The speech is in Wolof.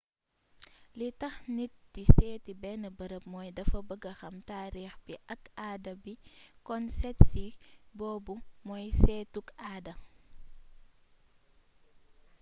li tax nit di sééti bénn beereeb mooy dafa bëggee xam taarix bi ak aada bi kon séétsi boobu mooy séétuk aada